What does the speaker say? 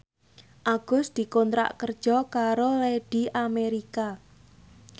Agus dikontrak kerja karo Lady America